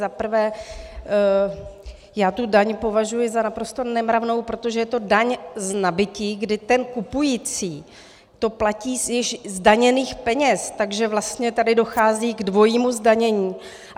Za prvé, já tu daň považuji za naprosto nemravnou, protože je to daň z nabytí, kdy ten kupující to platí z již zdaněných peněz, takže vlastně tady dochází k dvojímu zdanění.